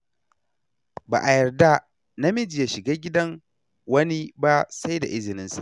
Ba a yarda namiji ya shiga gidan wani ba sai da izininsa.